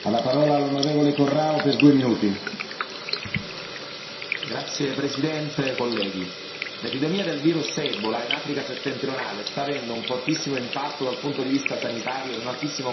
Signor Presidente, onorevoli colleghi, l'epidemia del virus ebola in Africa settentrionale sta avendo un fortissimo impatto dal punto di vista sanitario ed un altissimo costo in termini di vite umane.